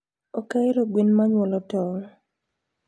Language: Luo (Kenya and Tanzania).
Okahero gwen manyuolo tong